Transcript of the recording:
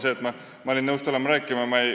Näiteks seegi, et ma olin nõus tulema siia rääkima.